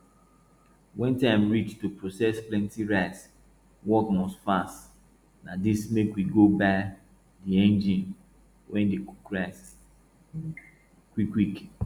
when time reach to process plenty rice work must fast na dis make we go buy di engine wey dey cook rice quick quick